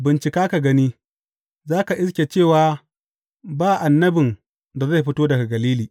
Bincika ka gani, za ka iske cewa ba annabin da zai fito daga Galili.